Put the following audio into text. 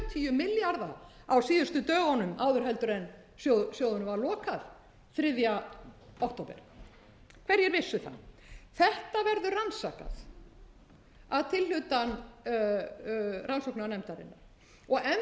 sjötíu milljarða á síðustu dögunum áður en sjóðunum var lokað þriðja október hverjir vissu það þetta verður rannsakað að tilhlutan rannsóknarnefndarinnar og enn